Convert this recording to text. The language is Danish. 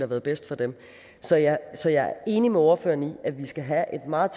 været bedst for dem så jeg er enig med ordføreren i at vi skal have et meget